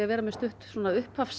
vera með stutt svona